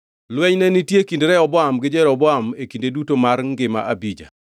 Lweny ne nitie e kind Rehoboam gi Jeroboam e kinde duto mar ngima Abija.